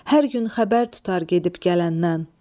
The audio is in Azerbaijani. Hər gün xəbər tutar gedib gələndən.